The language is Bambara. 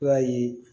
I b'a ye